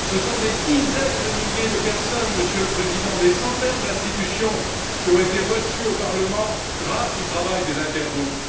ce sont des dizaines de milliers de personnes, Monsieur le Président, des centaines d'institutions qui ont été reçues au Parlement grâce au travail des intergroupes.